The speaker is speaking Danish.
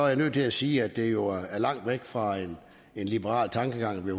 jeg nødt til at sige at det jo er langt fra en liberal tankegang at vi